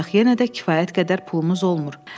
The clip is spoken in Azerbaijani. Ancaq yenə də kifayət qədər pulumuz olmur.